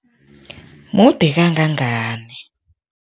Mude kangangani?